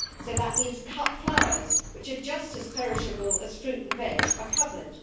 So that means that cut flowers, which are just as perishable as fruit and veg, are covered.